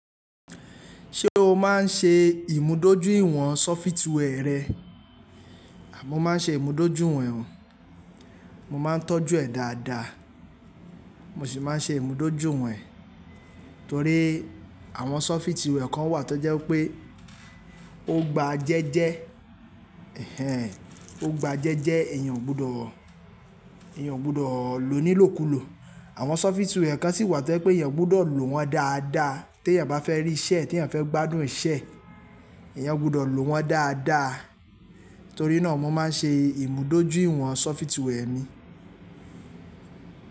Ṣé o máa ń ṣe ìmúdójúìwọ̀n software rẹ? À mo máa ń ṣe ìmúdójú ìwọ̀n ẹ o. Mo máa ń tọ́jú ẹ̀ dáadáa. Mo sì máa ń ṣe ìmúdójú ìwọ̀n ẹ torí àwọn software kan wà tó jẹ́ pé ó gba jẹ́jẹ́. Ehen, ó gba jẹ́jẹ́, èèyàn ò gbọdọ̀, èèyàn ò gbọdọ̀ lò ní ilòkùlò. Àwọn software kan sì wà tó jẹ́ pé èèyàn gbọdọ̀ lò wọ́n dáadáa tí èèyàn bá fẹ́ rí iṣẹ́ e tí èèyàn fẹ́ gbádùn iṣẹ́ e. Èèyàn gbọdọ̀ lò wọ́n dáadáa. Torí náà mo máa ń ṣe ìmúdójúìwọ̀n software mi.